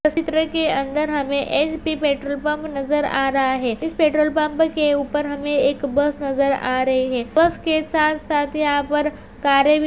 अंदर हमें HP petrol pump नजर आ रहा है। इस पेट्रोल पम्प के ऊपर हमे एक बस नजर आ रही है। बस के साथ साथ यहाँ पर कारे भी--